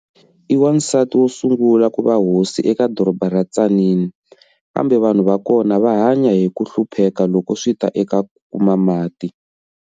I wansati wo sungula kuva hosi eka doroba ra Tzaneen, kambe vanhu va kona va hanya hi ku hlupheka loko swi ta eka ku kuma mati.